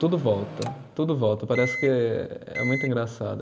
Tudo volta, tudo volta, parece que, é muito engraçado.